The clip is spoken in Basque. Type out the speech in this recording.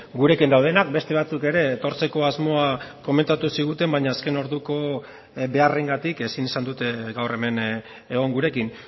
gurekin daudenak beste batzuk ere etortzeko asmoa komentatu ziguten baina azken orduko beharrengatik ezin izan dute gaur hemen egon gurekin